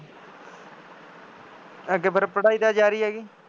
ਅੱਗੇ ਫੇਰ ਪੜ੍ਹਾਈ ਤਾਂ ਜਾਰੀ ਆ ਜੀ